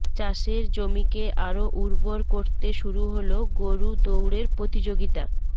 চাষের জমিকে আরও উর্বর করতে শুরু হল গরু দৌড়ের প্রতিযোগিতা